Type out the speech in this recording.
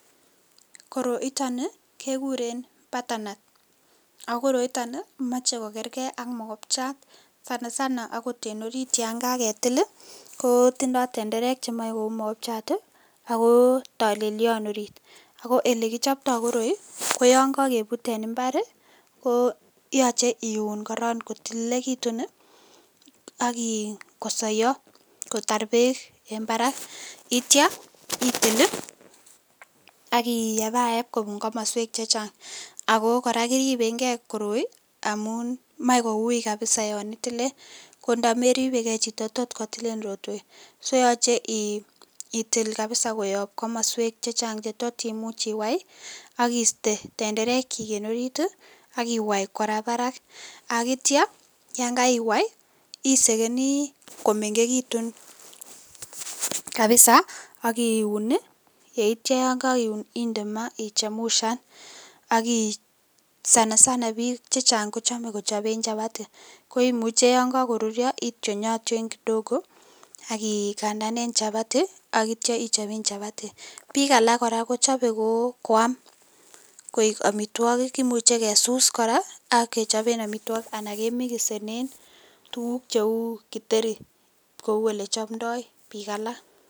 Koroitaan ni kegureen batenat koroitaan ko machei ko kergei ak mogopchaat ,sana sana akoot en oriit yaan kagetil ii kotindoi tenderek che machei kouu mogopchaat ii ako talelian orit ako ole kipchaptai koroi koyaan yaan kakebuut en mbar ii ko yachei iun korong kotilililegituun ii ak ii kosayaa kotaar beek en barak yeityaa itil ii ak ii yebae yeb kobuun komosweek che chaang ako kora koripeen gei koroi amuun Mae kowui kabisaa yaan itilien rotweet ko yachei itil kabisa koyaab komosweek che chaang che tot imuuch iwaiy ii ak iistee tenderek kyiik en orit ii akiwai kora Barak ak yeityaa yaan kaiwai ii isegenii komegekituun kabisa ak iuun ii yeitya yaan Kai iuun ii inde maa ichemshaan ak sana sana biik che chaang kochame kichapeen chapatii koimuuchei yaan Kako ruria ingalaljii kidogo ak kandaan en chapati ii ak yeityaa ichapeen chapati biik alaak kora kochape Koo koam koek amitwagiik kimuchei kesus kora ak kechapeen amitwagiik ak ke mixeneen tuguuk che uu githeri kouu ole chamdoi biik che chaang.